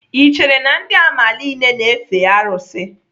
Ị chere na ndị amala niile na-efe arụsị?